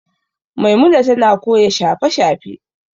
Maimuna tana koyon shafe-shafe.